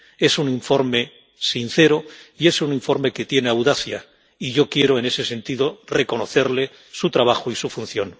Es un informe sincero y es un informe que tiene audacia, y yo quiero, en ese sentido, reconocerle su trabajo y su función.